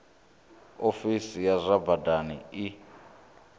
ofisi ya zwa badani i